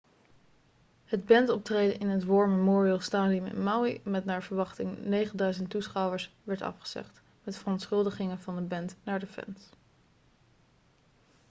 het bandoptreden in het war memorial stadium in maui met naar verwachting 9000 toeschouwers werd afgezegd met verontschuldigingen van de band naar de fans